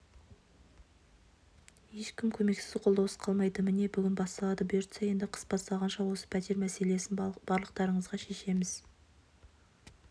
ешкім көмексіз қолдаусыз қалмайды міне бүгін басталды бұйыртса енді қыс басталғанша осы пәтер мәселесін барлықтарыңызға шешеміз